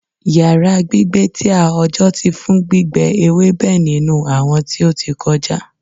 Yara gbigbe ti a oojọ ti fun gbígbẹ ewebe ninu awọn ti o ti kọja